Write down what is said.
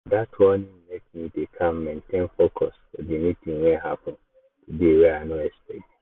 dat warning make me dey calm maintain focus for the meeting wey happen today wey i no expect.